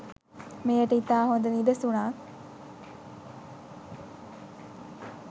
මෙයට ඉතා හොඳ නිදසුනක්